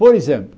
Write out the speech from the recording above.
Por exemplo,